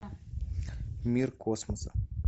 мир космоса